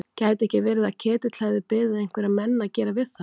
Gæti ekki verið að Ketill hefði beðið einhverja menn að gera við þær?